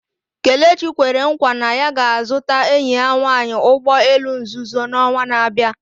Kelechi kwere nkwa na ya ga-azụta enyi ya nwanyị ụgbọ elu nzuzo n'ọnwa na-abịa